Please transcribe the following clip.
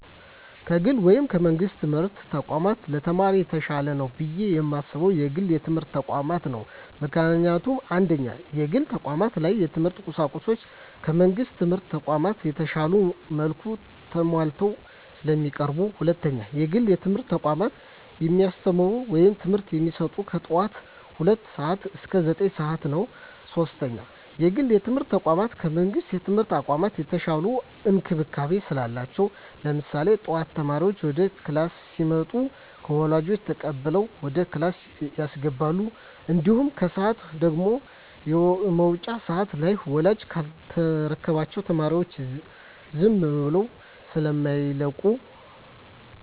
ከግል ወይም ከመንግስት የትምህርት ተቋማት ለተማሪ የተሻለ ነው ብየ የማስበው የግል የትምህርት ተቋማትን ነው። ምክንያቱም፦ 1ኛ, የግል ተቋማት ላይ የትምህርት ቁሳቁሱ ከመንግስት ትምህርት ተቋማቶች በተሻለ መልኩ ተማሟልተው ስለሚቀርቡ። 2ኛ, የግል የትምህርት ተቋሞች የሚያስተምሩት ወይም ትምህርት የሚሰጡት ከጠዋቱ ሁለት ሰዓት እስከ ዘጠኝ ሰዓት ስለሆነ። 3ኛ, የግል የትምርት ተቋም ከመንግስት የትምህርት ተቋም የተሻለ እንክብካቤ ስላላቸው። ለምሳሌ ጠዋት ተማሪዎች ወደ ክላስ ሲመጡ ከወላጆች ተቀብለው ወደ ክላስ ያስገባሉ። እንዲሁም ከሰዓት ደግሞ የመውጫ ሰዓት ላይ ወላጅ ካልተረከባቸው ተማሪዎቻቸውን ዝም ብለው ስማይለቁ።